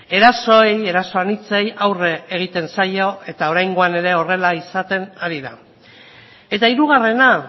erasoei eraso anitzei aurre egiten zaio eta oraingoan ere horrela izaten ari da eta hirugarrena